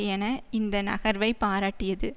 என இந்த நகர்வை பாராட்டியது